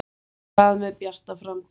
En hvað með Bjarta framtíð?